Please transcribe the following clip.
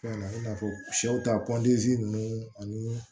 Fɛn na i n'a fɔ sɛw ta ninnu ani